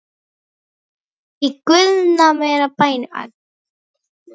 Í guðanna bænum.